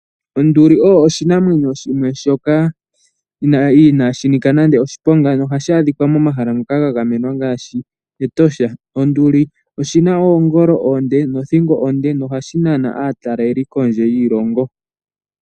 Onduli oyo oshinamwenyo shimwe inaashi nika nande oshiponga nohashi adhika momahala ngoka ga gamenwa ngaashi Etosha. Onduli oshina oongolo onde nothingo onde nohashi nana aataleli kondje yiilongo.